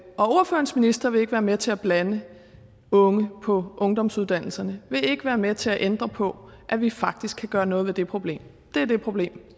ordførerens minister vil ikke være med til at blande unge på ungdomsuddannelserne vil ikke være med til at ændre på at vi faktisk kan gøre noget ved det problem det er det problem